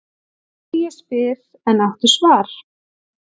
Þig ég spyr, en áttu svar?